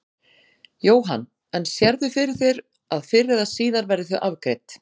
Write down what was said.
Jóhann: En sérðu fyrir þér að fyrr eða síðar verði þau afgreidd?